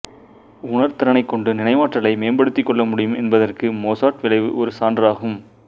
உணர் திறனைக் கொண்டு நினைவாற்றலை மேம்படுத்திக் கொள்ள முடியும் என்பதற்கு மொசார்ட் விளைவு ஒரு சான்றாகும்